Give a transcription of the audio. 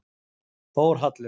Þórhallur